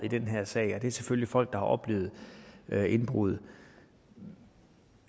i den her sag det er selvfølgelig folk der har oplevet indbrud